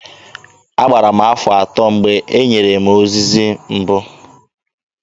Agbara m afọ atọ mgbe e nyere m ozizi mbụ.